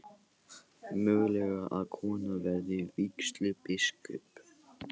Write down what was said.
Mögulegt að kona verði vígslubiskup